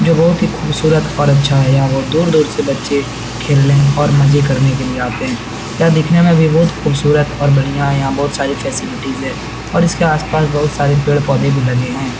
जो बहुत ही खूबसूरत और अच्छा है यहाँ बहोत दूर-दूर से बच्चे खेलने और मज़े करने के लिए आते हैं यह दिखने में भी बहुत खूबसूरत और बढ़िया है यहाँ बहुत सारी फैसिलिटीज है और इसके आस-पास बहोत सारे पेड़-पौधे भी लगे है।